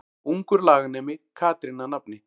Ungur laganemi Katrín að nafni.